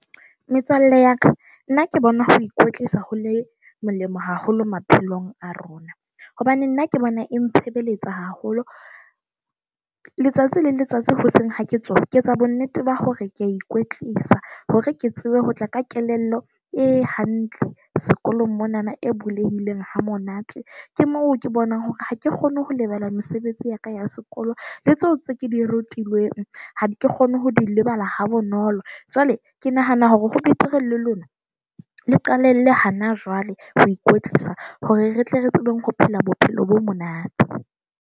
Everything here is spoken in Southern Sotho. Metswalle ya ka, nna ke bona ho ikwetlisa ho le molemo haholo maphelong a rona hobane nna ke bona e ntshebeletsa haholo. Letsatsi le letsatsi hoseng ha ke tsona ke etsa bonnete ba hore ke a ikwetlisa hore ke tsebe ho tla ka kelello e hantle sekolong monana. E bulehileng ha monate, ke moo ke bonang hore ha ke kgone ho lebala mesebetsi ya ka ya sekolong le tseo tse ke di rutilweng. Ha ke kgone ho di lebala ha bonolo. Jwale ke nahana hore ho betere le lona le qalelle hana jwale ho ikwetlisa hore re tle re tsebeng ho phela bophelo bo monate.